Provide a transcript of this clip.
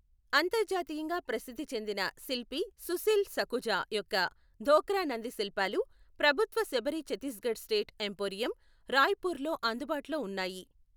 అంతర్జాతీయంగా ప్రసిద్ధి చెందిన శిల్పి సుశీల్ సఖుజా యొక్క ధోక్రా నంది శిల్పాలు ప్రభుత్వ శబరి ఛత్తీస్గఢ్ స్టేట్ ఎంపోరియం, రాయ్పూర్లో అందుబాటులో ఉన్నాయి.